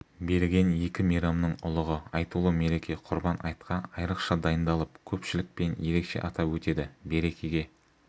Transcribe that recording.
берген екі мейрамның ұлығы айтулы мереке құрбан айтқа айрықша дайындалып көпшілікпен ерекше атап өтеді берекеге